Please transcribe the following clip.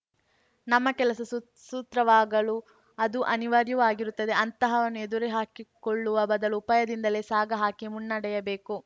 ನಮ್ಮ ಕೆಲಸ ಸುಸೂತ್ರವಾಗಲು ಅದು ಅನಿವಾರ್ಯವೂ ಆಗಿರುತ್ತದೆ ಅಂತಹವನ್ನು ಎದುರುಹಾಕಿಕೊಳ್ಳುವ ಬದಲು ಉಪಾಯದಿಂದಲೇ ಸಾಗ ಹಾಕಿ ಮುನ್ನಡೆಯಬೇಕು